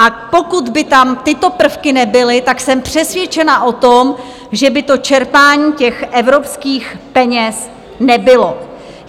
A pokud by tam tyto prvky nebyly, tak jsem přesvědčena o tom, že by to čerpání těch evropských peněz nebylo.